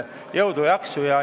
Jõudu ja jaksu!